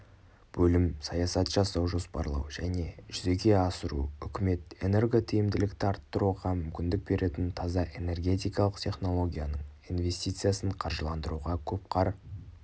бөлім саясат жасау жоспарлау және жүзеге асыру үкімет энеготиімділікті арттыруға мүмкіндік беретін таза энергетикалық технологияның инвестициясын қаржыландыруға көп қар